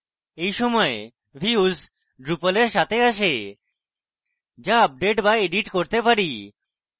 এই সকল views drupal এর সাথে আসে যা আপডেট বা edit করতে পারি